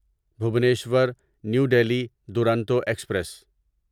Bhubaneswar New Delhi Duronto express